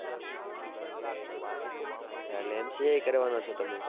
એટલે MCA એ કરવાનાં છો તમે